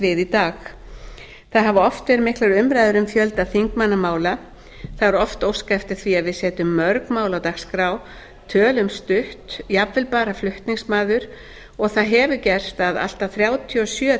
dag það hafa oft verið miklar umræður um fjölda þingmannamála það er oft óskað eftir því að við setjum mörg mál á dagskrá tölum stutt jafnvel bara flutningsmaður og það hefur gerst að allt að þrjátíu og sjö